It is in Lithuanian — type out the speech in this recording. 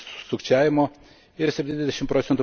sukčiavimo ir 70 proc.